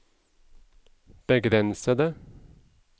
begrensede